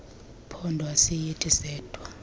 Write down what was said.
phondo ayisithi sedwa